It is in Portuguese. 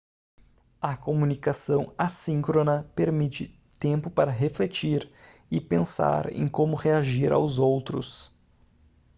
a comunicação assíncrona permite tempo para refletir e pensar em como reagir aos outros